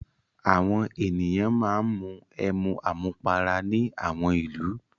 Àwọn ènìyàn máa ń mu ẹmu àmupara ní àwọn ìlú.